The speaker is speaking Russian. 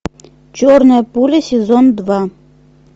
черная пуля сезон два